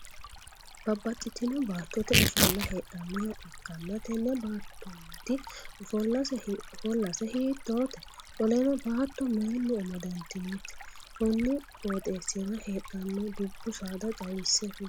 Babbaxitino baattote ofolla heedhanoha ikanna tenne baatonniti oafolase hiitoote? Qoleno baatto mayinni amadantinote? Konni qooxeesira heedhanno dubu saada xawise kuli?